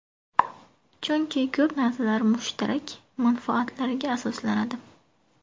Chunki ko‘p narsa mushtarak manfaatlarga asoslanadi.